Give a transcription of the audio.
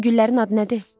Bu güllərin adı nədir?